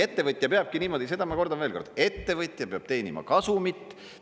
Ettevõtja peabki niimoodi, seda ma kordan veel kord, ettevõtja peab teenima kasumit.